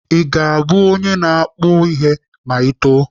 Ị ga-abụ onye ọkpụ ihe ma Ị too?